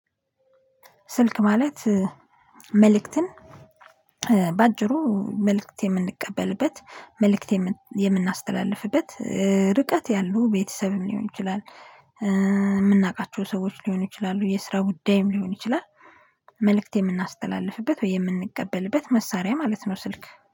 ስልክ ማለት መልእክትን በአጭሩ መልእክት የምንቀበልበት መልእክት የምናስተላልፍበት ርቀት ያለው ቤተሰብም ሊሆን ይችላል የምናውቃቸው ሰዎች ሊሆኑ ይችላሉ የስራ ጉዳይም ሊሆን ይችላል። መልእክት የምናስተላልፍበት ወይ የምንቀበልበት መሳሪያ ማለት ነው ስልክ